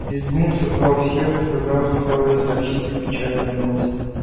визгун созвал всех и сказал что должен сообщить им печальную новость